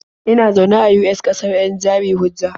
Ina zaune a US, ƙasar 'yan jari-hujja.